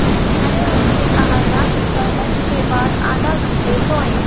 मैंने उनसे कहा था कि वह लंच के बाद आधा घंटे सोएं